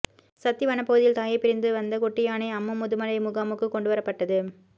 சத்தி வனப்பகுதியில் தாயை பிரிந்து வந்த குட்டியானை அம்மு முதுமலை முகாமுக்கு கொண்டுவரப்பட்டது